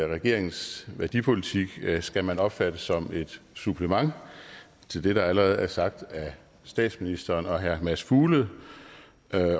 regeringens værdipolitik skal man opfatte som et supplement til det der allerede er sagt af statsministeren og herre mads fuglede